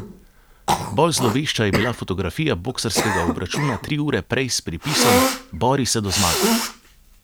Bolj zlovešča je bila fotografija boksarskega obračuna tri ure prej s pripisom: "Bori se do zmage!